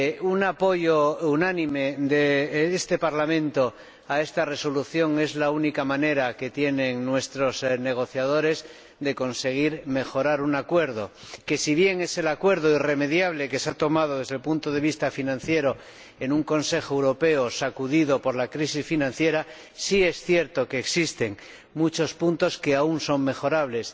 Un apoyo unánime de este Parlamento a esta Resolución es la única manera que tienen nuestros negociadores de conseguir mejorar un acuerdo que, si bien es el acuerdo irremediable que se ha tomado, desde el punto de vista financiero, en un Consejo Europeo sacudido por la crisis financiera, ciertamente contiene muchos puntos que aún son mejorables